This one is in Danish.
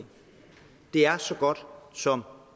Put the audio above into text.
det er så godt som